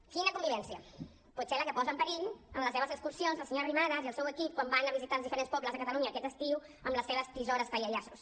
quina convivència potser la que posa en perill amb les seves excursions la senyora arrimadas i el seu equip quan van a visitar els diferents pobles de catalunya aquest estiu amb les seves tisores tallallaços